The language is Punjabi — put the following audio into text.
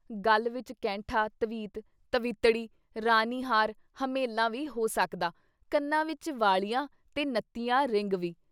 ਗਲ਼ ਵਿੱਚ ਕੈਂਠਾ, ਤਵੀਤ, ਤਵੀਤੜੀ ਰਾਣੀ ਹਾਰ ਹਮੇਲਾਂ ਵੀ ਹੋ ਸਕਦਾ ਕੰਨਾਂ ਵਿੱਚ ਵਾਲੀਆਂ ਤੇ ਨੱਤੀਆਂ ਰਿੰਗ ਵੀ।